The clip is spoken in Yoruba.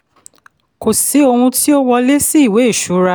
kò sí ohun tí ó wọlé sí ìwé ìṣura.